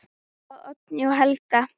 Dóra, Oddný og Helga.